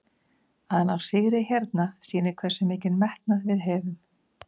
Að ná sigri hérna sýnir hversu mikinn metnað við höfum.